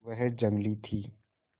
वह जंगली थी